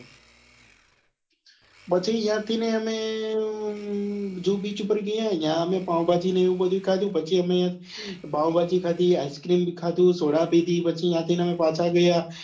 પછી યા થી અમે જુ beach ઉપર ગયા યા અમે પાવભાજી ને એ બધું ખાધું પછી અમે પાવભાજી ખાધી, ice cream ખાધી, સોડા પીધી પછી યાન થી અમે પાછા ગયા